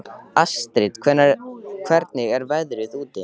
Astrid, hvernig er veðrið úti?